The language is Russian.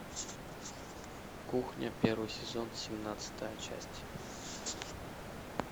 кухня первый сезон семнадцатая часть